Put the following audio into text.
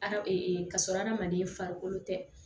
Hadama ee ka sɔrɔ hadamaden farikolo tɛ